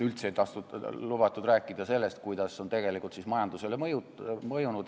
Üldse ei lubatud rääkida, kuidas kõik on tegelikult majandusele mõjunud.